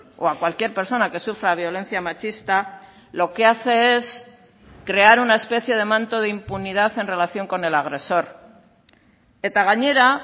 o a cualquier persona que sufra violencia machista lo que hace es crear una especie de manto de impunidad en relación con el agresor eta gainera